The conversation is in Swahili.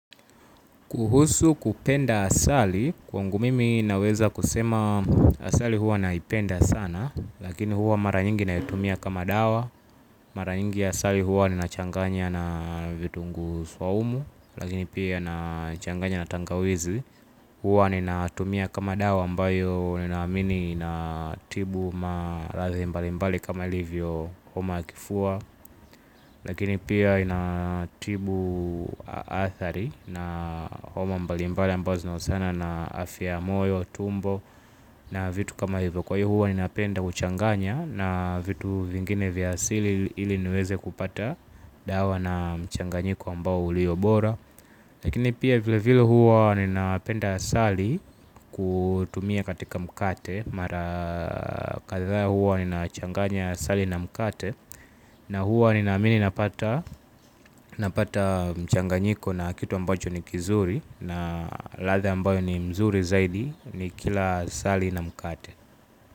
Kuhusu kupenda asali, kwangu mimi naweza kusema asali huwa naipenda sana, lakini hua mara nyingi naitumia kama dawa, mara nyingi asali huwa nina changanya na vitunguu saumu, lakini pia na changanya na tangawizi, hua ninatumia kama dawa ambayo ninaamini inatibu maradhi mbali mbali kama ilivyo homa ya kifua, lakini pia inatibu adhari na homa mbalimbali ambazo zinahusiana na afya ya moyo tumbo na vitu kama hivyo. Kwa hivyo huwa ninapenda kuchanganya na vitu vingine vya asili ili niweze kupata dawa na mchanganyiko ambao ulio bora. Lakini pia vile vile huwa ninapenda asali kutumia katika mkate. Mara kadhaa huwa ninachanganya asali na mkate. Na huwa ninaamini napata. Napata mchanganyiko na kitu ambacho ni kizuri na ladha ambayo ni mzuri zaidi nikila asali na mkate.